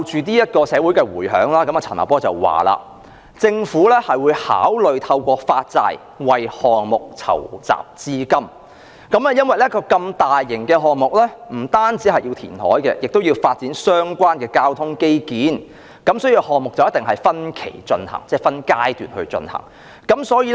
對於社會的迴響，陳茂波是這樣說的："政府會考慮透過發債為項目籌集資金，因為一個如此大型的項目，不單要填海，也要發展相關的交通基建，所以項目一定會分期進行，即分階段進行。